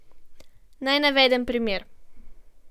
Naj navedem primer.